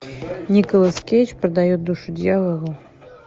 николас кейдж продает душу дьяволу